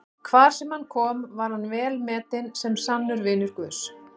Hvar sem hann kom var hann velmetinn sem sannur vinur Guðs.